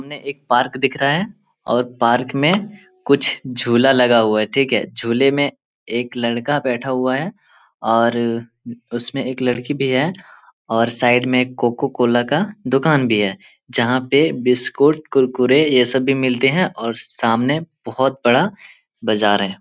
हमने एक पार्क दिख रहा है और पार्क में कुछ झूला लगा हुआ है ठीक है झूले में एक लड़का बैठा हुआ है और अ उसमे एक लड़की भी है और साइड में एक कोको कोला का दूकान भी है जहां पर बिस्कुट कुरकुरे ये सब भी मिलते है और सामने बहुत बड़ा बाजार है।